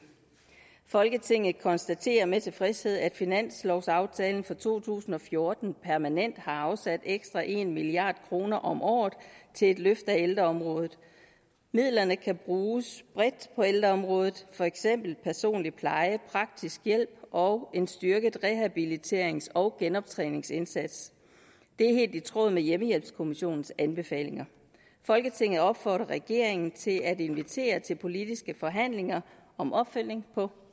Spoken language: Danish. folketinget konstaterer med tilfredshed at finanslovsaftalen for to tusind og fjorten permanent har afsat ekstra en milliard kroner om året til et løft af ældreområdet midlerne kan bruges bredt på ældreområdet for eksempel på personlig pleje praktisk hjælp og en styrket rehabiliterings og genoptræningsindsats det er helt i tråd med hjemmehjælpskommissionens anbefalinger folketinget opfordrer regeringen til at invitere til politiske forhandlinger om opfølgning på